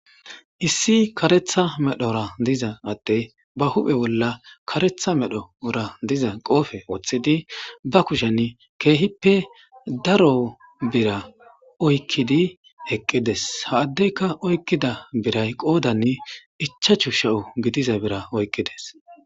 issi karetha medhora diza atte ba huphe bolla karetha medho ora diza qoofe wooththidi ba kushen keehippe daro bira oykkidi heqqides haaddeyka oykkida biray qoodann ichachu she7o gidiza bira oykkides